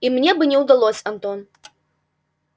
и мне бы не удалось антон